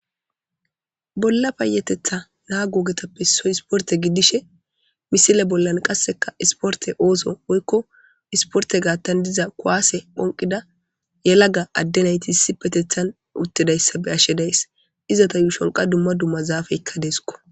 Bola payatetha nago ogetappe issoyi issiporite gidishe misile bolani qase issiporite oththo woyikko issiporite gaththani diza kuwase phonikida yelagga adde nayiti issippeteththani uttidayisa beyashe dayisi izeta yushshoni qasi dumma dumma zafeyikka desikko